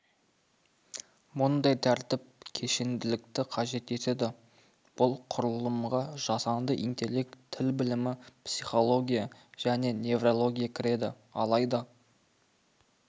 мұндай тәртіп кешенділікті қажет етеді бұл құрылымға жасанды интеллект тіл білімі психология және неврология кіреді алайда